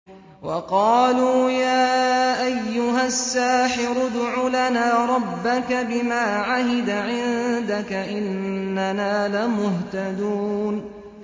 وَقَالُوا يَا أَيُّهَ السَّاحِرُ ادْعُ لَنَا رَبَّكَ بِمَا عَهِدَ عِندَكَ إِنَّنَا لَمُهْتَدُونَ